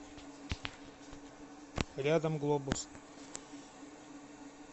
рядом глобус